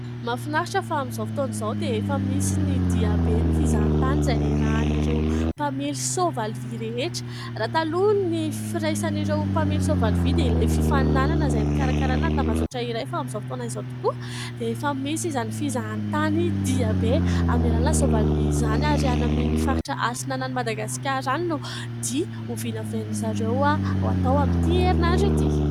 Mahafinaritra fa amin'izao fotoana izao dia efa misy ny dia be ny fizahatany izay niarahan'ireo mpamely soavaly vy rehetra. Raha taloha ny firaisan'ireo mpamely soavaly vy dia ilay fifanomanana izay nokarakaraina tambazotra iray fa amin'izao fotoana izao tokoa dia efa misy izany fizahatany dia be amin'ny alalan'ny soavaly vy izany ary any amin'ny faritra atsinanan'i Madagasikara any no dia hovinavinain'izareo ho atao amin'ity herinandro ity.